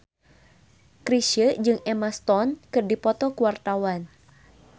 Chrisye jeung Emma Stone keur dipoto ku wartawan